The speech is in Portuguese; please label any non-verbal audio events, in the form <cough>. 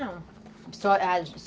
Não. <unintelligible>